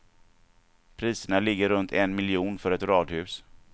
Priserna ligger runt en miljon för ett radhus.